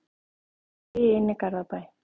Ég beygi inn í Garðabæ.